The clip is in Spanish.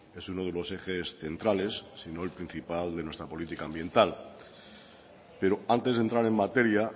es uno de los ejes centrales sino el principal de nuestra policía ambienta pero antes de entrar en materia